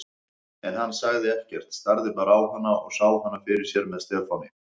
En hann sagði ekkert, starði bara á hana og sá hana fyrir sér með Stefáni.